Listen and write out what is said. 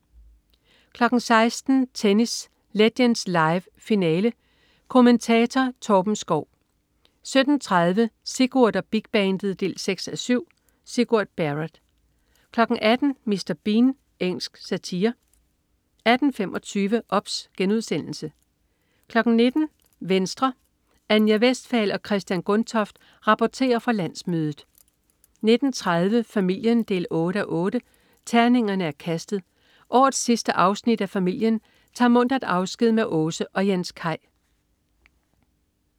16.00 Tennis: Legends Live, finale. Kommentatorer: Torben Schou 17.30 Sigurd og Big Bandet 6:7. Sigurd Barrett 18.00 Mr. Bean. Engelsk satire 18.25 OBS* 19.00 Venstre. Anja Westphal og Christian Gundtoft rapporterer fra landsmødet 19.30 Familien 8:8. Terningerne er kastet. Årets sidste afsnit af Familien tager muntert afsked med Åse og Jens Kaj